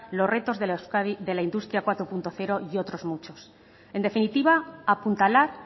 los retos de la euskadi de la industria cuatro punto cero y otros muchos en definitiva apuntalar